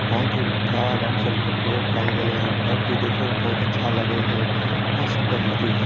बोहोत ही घर भी देखय में बोहोत अच्छा लगेय है बोहोत सुन्दर मूर्ति है।